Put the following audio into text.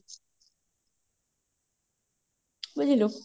ବୁଝିଲୁ